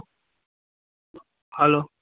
hello